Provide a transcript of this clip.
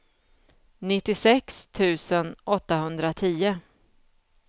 nittiosex tusen åttahundratio